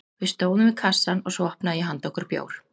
Við stóðum við kassann og svo opnaði ég handa okkur bjór.